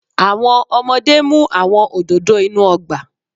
Awọn ọmọde mu awọn ododo inu ọgba